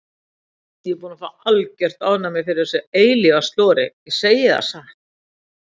Ég er búin að fá algert ofnæmi fyrir þessu eilífa slori, ég segi það satt.